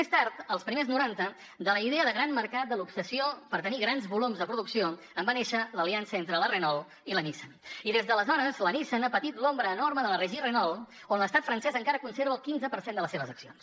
més tard als primers noranta de la idea de gran mercat de l’obsessió per tenir grans volums de producció en va néixer l’aliança entre la renault i la nissan i des d’aleshores la nissan ha patit l’ombra enorme de la régie renault on l’estat francès encara conserva el quinze per cent de les seves accions